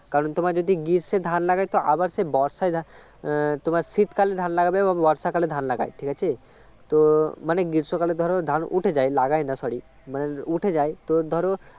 কারণ যদি তোমার যদি গ্রীষ্মে ধান লাগাই তো আবার সেই বর্ষা গিয়ে তোমার শীতকালে ধান লাগাবে এবং বর্ষাকালে ধান লাগায় ঠিক আছে তো মানে গ্রীষ্মকালে ধরো ধান উঠে যায় লাগায় না sorry মানে উঠে যায় তো ধরো